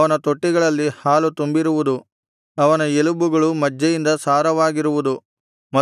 ಅವನ ತೊಟ್ಟಿಗಳಲ್ಲಿ ಹಾಲು ತುಂಬಿರುವುದು ಅವನ ಎಲಬುಗಳು ಮಜ್ಜೆಯಿಂದ ಸಾರವಾಗಿರುವುದು